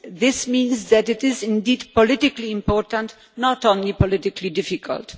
This means that it is indeed politically important, not only politically difficult.